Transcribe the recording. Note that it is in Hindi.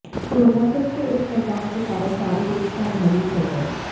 क्रोधासुर के इस वरदान के कारण सारे देवता भयभीत हो गए